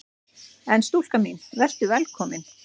En stúlka mín: Vertu velkomin!